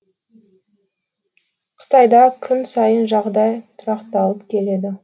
қытайда күн сайын жағдай тұрақталып келеді